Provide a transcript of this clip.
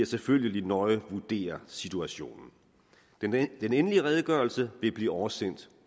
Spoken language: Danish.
selvfølgelig nøje vurdere situationen den endelige redegørelse vil blive oversendt